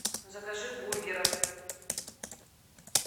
закажи бургеров